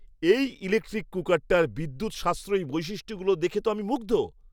এই ইলেক্ট্রিক কুকারটার বিদ্যুৎ সাশ্রয়ী বৈশিষ্ট্যগুলো দেখে তো আমি মুগ্ধ!